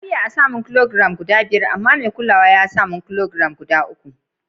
Na biya a'sa mun ƙilogiram guda biyar amma mai kulawa ya sa ƙilogiram guda uku.